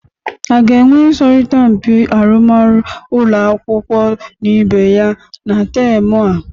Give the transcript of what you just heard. A ga-enwe ịsọrịta mpị arụmarụ ụlọ akwụkwọ na ibe ya na temụ a?